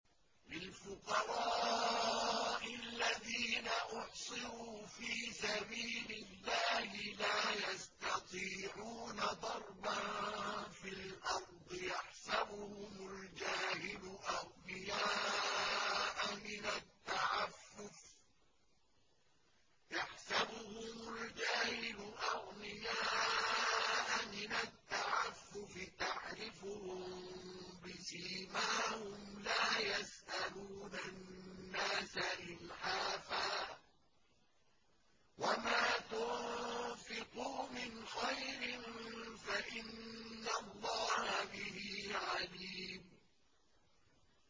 لِلْفُقَرَاءِ الَّذِينَ أُحْصِرُوا فِي سَبِيلِ اللَّهِ لَا يَسْتَطِيعُونَ ضَرْبًا فِي الْأَرْضِ يَحْسَبُهُمُ الْجَاهِلُ أَغْنِيَاءَ مِنَ التَّعَفُّفِ تَعْرِفُهُم بِسِيمَاهُمْ لَا يَسْأَلُونَ النَّاسَ إِلْحَافًا ۗ وَمَا تُنفِقُوا مِنْ خَيْرٍ فَإِنَّ اللَّهَ بِهِ عَلِيمٌ